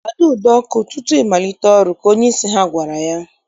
Kpado ụdọ ọkụ tutu I malite ọrụ! Ka onyeisi ha gwara ya